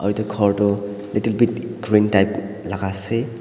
edu khor toh little bit green type la ase.